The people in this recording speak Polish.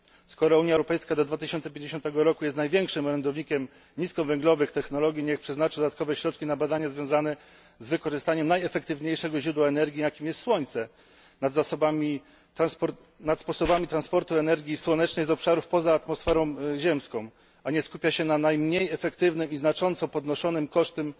Skoro Unia Europejska do 2050 roku jest największym orędownikiem niskowęglowych technologii, niech przeznaczy dodatkowe środki na badania związane z wykorzystaniem najefektywniejszego źródła energii, jakim jest słońce, nad sposobami transportu energii słonecznej z obszarów poza atmosferą ziemską, a niech nie skupia się na najmniej efektywnym programie o znacząco podniesionym koszcie